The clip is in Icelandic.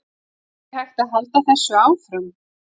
Er hægt að halda þessu áfram?